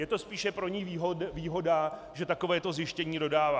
Je to spíše pro ni výhoda, že takovéto zjištění dostává.